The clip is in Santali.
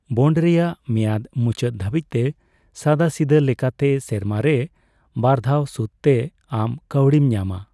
ᱵᱚᱱᱰ ᱨᱮᱭᱟᱜ ᱢᱮᱭᱟᱫ ᱢᱩᱪᱟᱹᱫ ᱫᱷᱟᱹᱵᱤᱡ ᱛᱮ ᱥᱟᱫᱟᱥᱤᱫᱟᱹ ᱞᱮᱠᱟᱛᱮ ᱥᱮᱨᱢᱟᱨᱮ ᱵᱟᱨᱫᱷᱟᱣ ᱥᱩᱫ ᱛᱮ ᱟᱢ ᱠᱟᱣᱰᱤᱢ ᱧᱟᱢᱟ ᱾